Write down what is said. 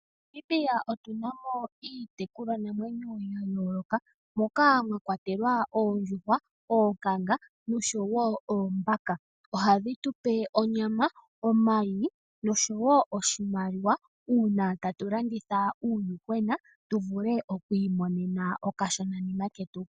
MoNamibia otu namo iitekulwa namwenyo oyindji moka mwa kwatelwa Oondjuhwa, Oonkanga nosho wo Oombaka. Ohadhi tupe onyama, omayi nosho wo oshimaliwa uuna tatu landitha uuyuhwena tu vule oku imonena okashona nima ketu.